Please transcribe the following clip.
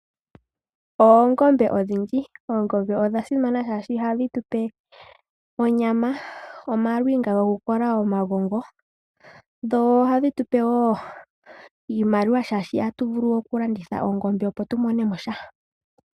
Oongombe odhindji. Oongombe odha simana oshoka ohadhi tupe onyama, omaluwinga gokukola omagongo, noshowo iimaliwa, oshoka ohatu vulu okulanditha oongombe opo tumone mo sha.